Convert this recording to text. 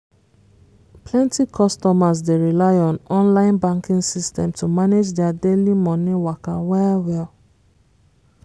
plenty customers dey rely on online banking system to manage their daily money waka well well.